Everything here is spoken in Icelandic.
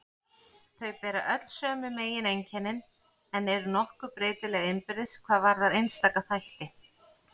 Þau bera öll sömu megineinkennin en eru nokkuð breytileg innbyrðis hvað varðar einstaka þætti.